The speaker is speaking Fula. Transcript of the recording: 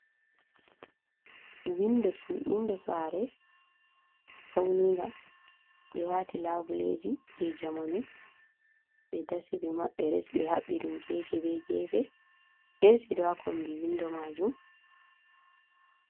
Winɗo sare, fauninga, ɓe wati laɓuleji je jamanu. Ɓe ɗasi ɓe maɓɓe, ɓe haɓɓi ɗum gefe ɓe gefe. Esi ɗo ha kombi winɗo majum.